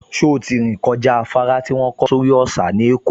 Ṣé ó ti rìn kọjá afárá tí wọ́n kọ́ sórí òsà ní Èkó?